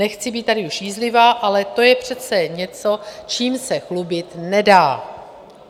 Nechci být tady už jízlivá, ale to je přece něco, čím se chlubit nedá.